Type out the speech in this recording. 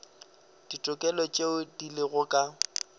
ditokelo tšeo di lego ka